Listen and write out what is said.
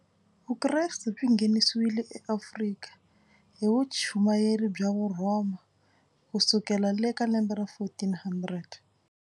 Vukreste byi nghenisewile eAfrika hi vuchumayeri bya Vurhoma kusukela le ka lembe ra fourteen hundred.